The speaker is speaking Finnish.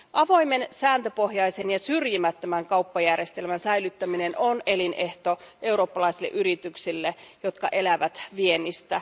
Avoimen, sääntöpohjaisen ja syrjimättömän kauppajärjestelmän säilyttäminen on elinehto eurooppalaisille yrityksille, jotka elävät viennistä.